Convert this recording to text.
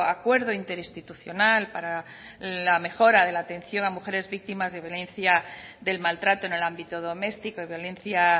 acuerdo interinstitucional para la mejora de la atención a mujeres víctimas de violencia del maltrato en el ámbito doméstico y violencia